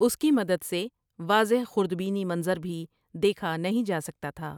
اس کی مدد سے واضح خردبینی منظر بھی دیکھا نہیں جاسکتا تھا ۔